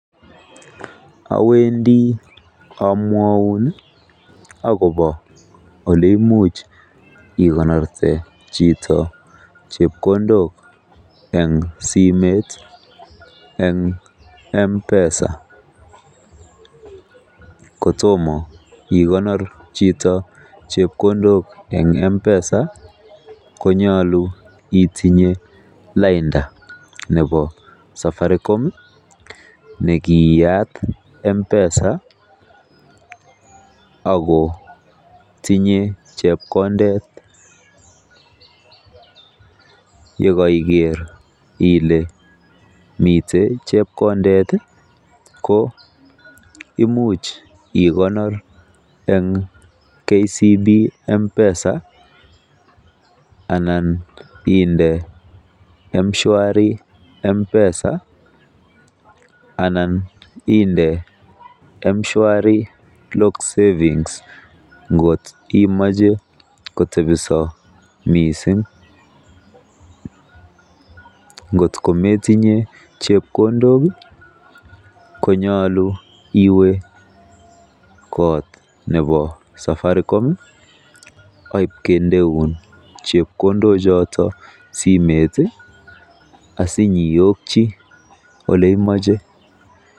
Awendi amwaun agobo ole imuche ikonorte chito simet en M-Pesa kotom ikonor chito chepkondok en M-Pesa konyolu itinye lainda nebo Safaricom ne kiiyat M-Pesa ago tinye chepkondet. Ye koiger ile miten chepkondet ko imuch ikonor en KCB M-Pesa ana ind eM-Shwari M-Pesa ana inde M-Pesa lock savings ngot imuche kotebi so miisng. Ngotko metinye chepkondok ii konyolu iwe kot nebo Safaricom ikindeun chepkondok choton simet asinyeiyoki ole imoche.